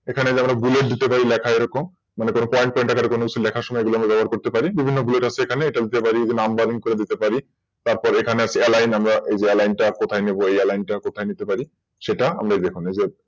এগুলো যে আমরা Bullet দিতে পারি লেখা এরকম মানে ধরুন Pointer এ সেগুলোকে আমরা ব্যবহার করতে পারি বিভিন্ন Blues সেখানে এখানে এগুলোকে আমরা ব্যবহার করতে পারি এই যে Numbering করে দিতে পারি তারপর আছে এখানে AlineNumber মানে ওই Aline তা কোথায় দিতে পারি সেটা দেখুন এখানে আছে